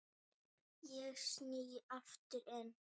Ég sný aftur inn.